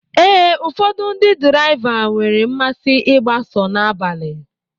Ee, ụfọdụ ndị draịva nwere mmasị ịgba sọ n'abalị